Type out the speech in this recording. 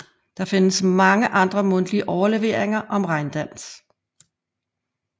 Der findes mange andre mundtlige overleveringer om regndans